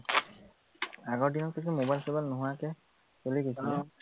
আগৰ দিনত কৈছো mobile চবাইল নোহোৱাকে চলি গৈছিলে